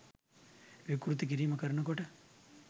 විකෘති කිරීම් කරනකොට